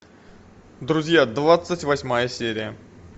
друзья двадцать восьмая серия